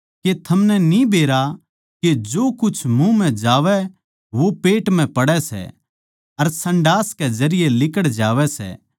के थमनै न्ही बेरा के जो कुछ मुँह म्ह जावै वो पेट म्ह पड़ै सै अर संडास कै जरिये लिकड़ जावै सै